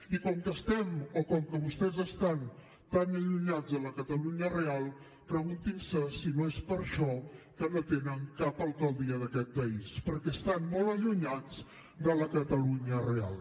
i com que estem o com que vostès estan tan allunyats de la catalunya real preguntin se si no és per això que no tenen cap alcaldia d’aquest país perquè estan molt allunyats de la catalunya real